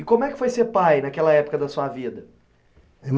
E como é que foi ser pai naquela época da sua vida?